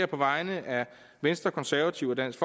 på vegne af venstre konservative og dansk